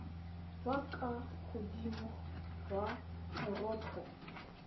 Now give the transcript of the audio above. jwa kwa godimo jwa moroto